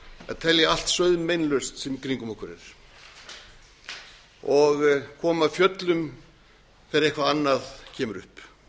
að telja allt sauðmeinlaust sem í kringum okkur er og komum af fjöllum þegar eitthvað annað kemur upp